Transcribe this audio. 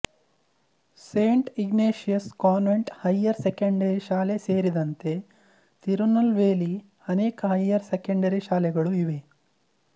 Saint Ignatius convent higher secondary ಶಾಲೆ ಸೇರಿದಂತೆ ತಿರುನಲ್ವೇಲಿ ಅನೇಕ ಹೈಯರ್ ಸೆಕೆಂಡರಿ ಶಾಲೆಗಳು ಇವೆ